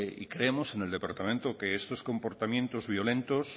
y creemos en el departamento que esos comportamientos violentos